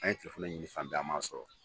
An ye juru ɲini can caman a m'a sɔrɔ.